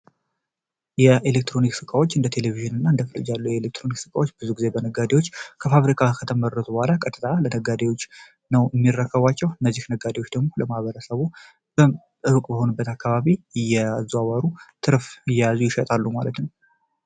የኤሌክትሮኒክ ስቃዎች እንደ ቴሌቪዥን እና እንደፍርጅ ያሉ የኤሌክትሮኒክ ስቃዎች ብዙ ጊዜ በነጋዴዎች ከፋብሪካ ከተመደረት በኋላ ቀጥጣ ለነጋዴዎች ነው የሚረከቧቸው ነዚህ ነጋዴዎች ደግሞ ለማበረሰቦ በዕሩቅ በሆኑ በትአካባቢ እየዛዋሩ ትርፍ እያዙ ይሸጣሉ ማለት ነው፡፡